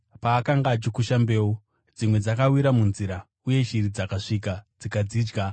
Paakanga achikusha mbeu, dzimwe dzakawira munzira, uye shiri dzakasvika dzikadzidya.